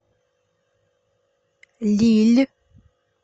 лилль